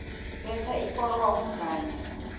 letha iforomo kanye